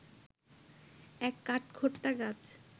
এক কাঠখোট্টা গাছ